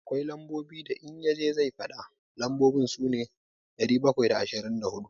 Akwai lambobin da in ya je zai faɗa, lambobin su ne, ɗari bakwai da ashirin da huɗu.